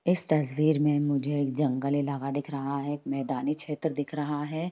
इस तस्वीर में मुझे एक जंगल इलाका दिख रहा है एक मैदानी क्षेत्र दिख रहा है।